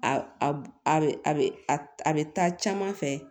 A bɛ a bɛ a bɛ taa caman fɛ